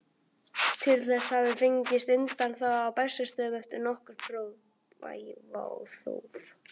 Til þess hafði fengist undanþága á Bessastöðum eftir nokkurt þóf.